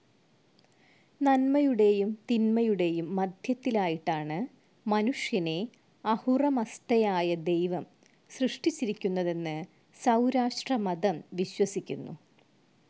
നന്മയുടെയും തിന്മയുടെയും മധ്യത്തിലായിട്ടാണ് മനുഷ്യനെ അഹുറ മസ്‌ദയായ ദൈവം സൃഷ്ടിച്ചിരിക്കുന്നതെന്നു സൗരാഷ്ട്രമതം വിശ്വസിക്കുന്നു.